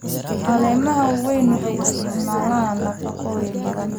Caleemaha waaweyn waxay isticmaalaan nafaqooyin badan.